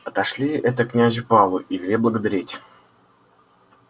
отошли это князю павлу и вели благодарить